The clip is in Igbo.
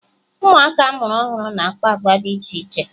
Ụmụaka a mụrụ ọhụrụ na-akpa agwa dị iche iche